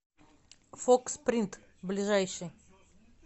фокс принт ближайший